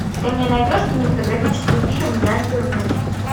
ты мне найдешь кинематографический фильм я не вернусь